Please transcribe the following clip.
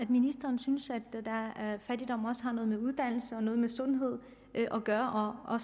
at ministeren synes at fattigdom også har noget med uddannelse og noget med sundhed at gøre og